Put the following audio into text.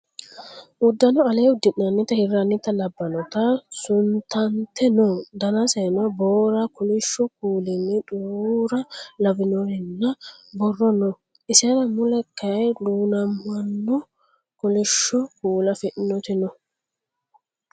Uddano alee udi'nanniti hirrannita labbanoti sutante no. Danaseno boora, kolishu kuulinni xuruura lawannorinna borro no. Isera mulee kayii duumonna kolisho kuula afidhinoti no.